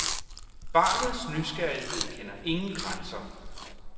Barnets nysgerrighed kender ingen grænser.